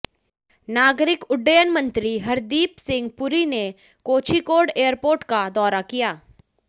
नागरिक उड्डयन मंत्री हरदीप सिंह पुरी ने कोझिकोड एयरपोर्ट का दौरा किया